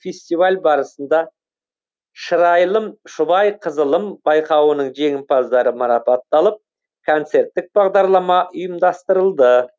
фестиваль барысында шырайлым шұбайқызылым байқауының жеңімпаздары марапатталып концерттік бағдарлама ұйымдастырылды